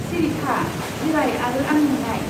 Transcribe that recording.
सिरि था! जिराय आरो आंजों नाय।